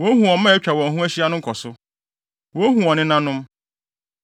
Wohu wɔn mma a atwa wɔn ho ahyia no nkɔso, wohu wɔn nenanom.